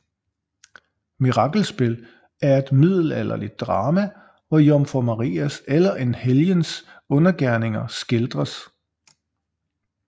Mirakelspil er et middelalderligt drama hvor Jomfru Marias eller en helgens undergerninger skildres